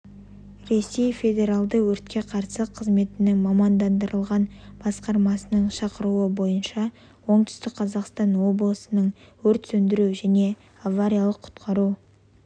ресей федералды өртке қарсы қызметінің мамандандырылған басқармасының шақыруы бойынша оңтүстік қазақстан облысының өрт сөндіру және авариялық-құтқару